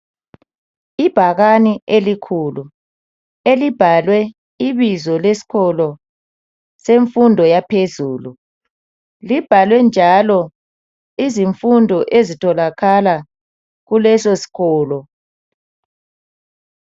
Ibhakane elikhulu elibhalwe ibizo lesikolo semfundo yaphezulu. Libhalwe njalo izifundo ezitholakala kuleso sikolo.